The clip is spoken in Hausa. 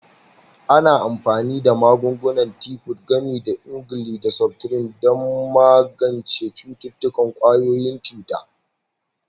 Ana amfani da magungunan Tifod, gami da emgyl da septrin, don magance cututtukan ƙwayoyin cuta.